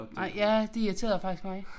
Nej ja det irriterede faktisk mig